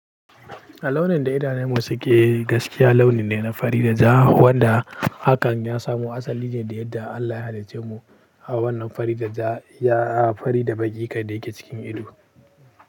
Launin da idanunmu suke gaskiya launi ne na fari da ja, wanda hakan ya samu asali ne da yadda Allah ya hada ce mu a wannan fari da ja, ya fari da baki kadai yake cikin ido.